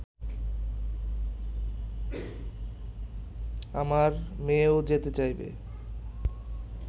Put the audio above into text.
আমার মেয়েও যেতে চাইবে